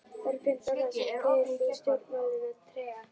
Þorbjörn Þórðarson: Kveður þú stjórnmálin með trega?